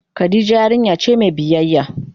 Khadijah yarinya ce mai biyyaya.